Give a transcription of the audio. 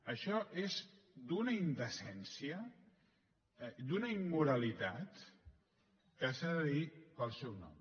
això és d’una indecència d’una immoralitat que s’ha de dir pel seu nom